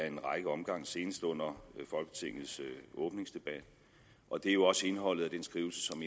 en række omgange senest under folketingets åbningsdebat og det er jo også indholdet af den skrivelse som